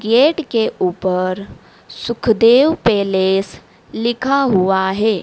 Gate के ऊपर Sukhdev palace लिखा हुआ है।